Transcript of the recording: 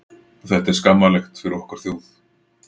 Þetta er skammarlegt fyrir okkar þjóð.